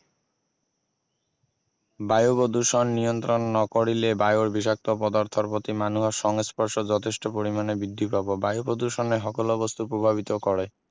বায়ু প্ৰদূষণ নিয়ন্ত্ৰণ নকৰিলে বায়ুৰ বিষাক্ত পদাৰ্থৰ প্ৰতি মানুহৰ সংস্পৰ্শ যথেষ্ট পৰিমাণে বৃদ্ধি পাব বায়ু প্ৰদূষণে সকলো বস্তু প্ৰভাৱিত কৰে